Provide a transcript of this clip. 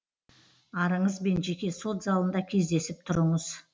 арыңызбен жеке сот залында кездесіп тұрыңыз